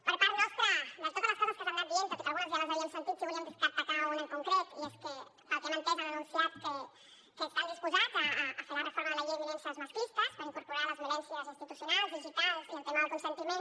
per part nostra de totes les coses que s’han anat dient tot i que algunes ja les havíem sentit sí que volíem destacar ne una en concret i és que pel que hem entès han anunciat que estan disposats a fer la reforma de la llei de violències masclistes per incorporar hi les violències institucionals digitals i el tema del consentiment